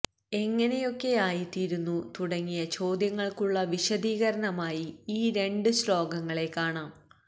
എങ്ങിനെയൊക്കെയായിത്തീരുന്നു തുടങ്ങിയ ചോദ്യങ്ങള്ക്കുള്ള വിശദീകരണമായി ഈ രണ്ട് ശ്ലോകങ്ങളെ കാണാം